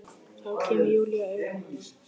Þá kemur Júlía auga á hana.